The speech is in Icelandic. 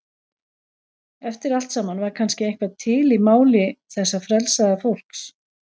Eftir allt saman var kannski eitthvað til í máli þessa frelsaða fólks.